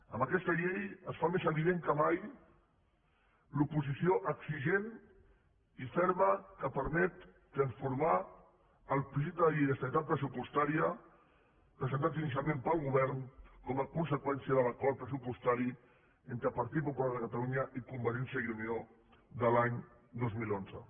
amb aquesta llei es fa més evident que mai l’oposició exigent i ferma que permet transformar el projecte de llei d’estabilitat pressupostària presentat inicialment pel govern com a conseqüència de l’acord pressupostari entre el partit popular de catalunya i convergència i unió de l’any dos mil onze